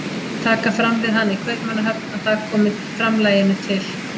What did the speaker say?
Taka fram við hana í Kaupmannahöfn að það komi framlaginu til